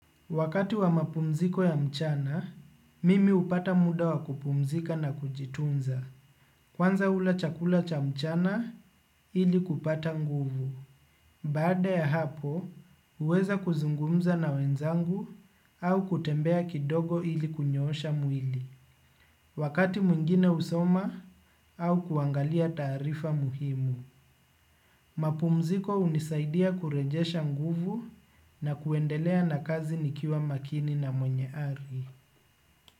Wakati wa mapumziko ya mchana, mimi hupata muda wa kupumzika na kujitunza. Kwanza hula chakula cha mchana ili kupata nguvu. Baada ya hapo, huweza kuzungumza na wenzangu au kutembea kidogo ili kunyoosha mwili. Wakati mwingine husoma au kuangalia taarifa muhimu. Mapumziko hunisaidia kurejesha nguvu na kuendelea na kazi nikiwa makini na mwenye ari.